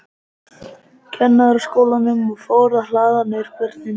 Kennaraskólanum, og fór að hlaða niður börnum.